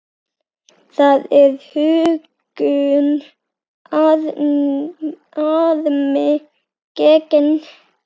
Það er huggun harmi gegn.